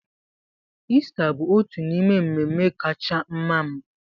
Ista bụ otu n'ime mmemme kacha mma m.